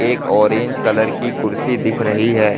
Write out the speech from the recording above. एक orange colour की कुर्सी दिख रही है।